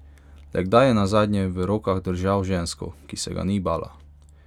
Le kdaj je nazadnje v rokah držal žensko, ki se ga ni bala?